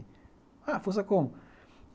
Ah, força como?